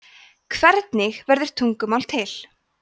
hvernig verður tungumál til